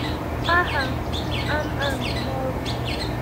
Aha n’ọrụ.